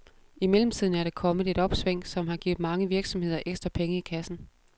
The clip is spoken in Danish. I mellemtiden er der kommet et opsving, som har givet mange virksomheder ekstra penge i kassen.